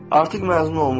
Artıq məzun olmuşam.